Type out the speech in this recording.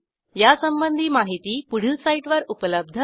यासंबंधी माहिती पुढील साईटवर उपलब्ध आहे